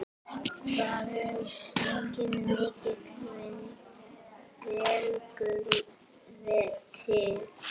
Það er enginn milli vegur til.